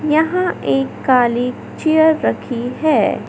यहां एक काली चेयर रखी है।